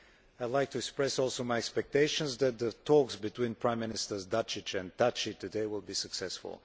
I would like to express also my expectations that the talks between Prime Ministers Dačić and Thaçi today will be successful.